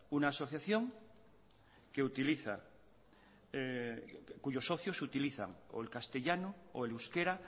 una asociación que utiliza cuyos socios utilizan o el castellano o el euskera